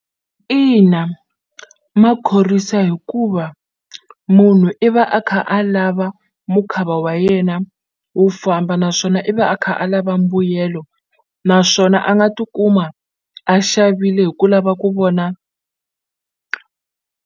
Ina, ma khorwisa hikuva munhu i va a kha a lava mukhava wa yena wu famba naswona i va a kha a lava mbuyelo naswona a nga tikuma a xavile hi ku lava ku vona.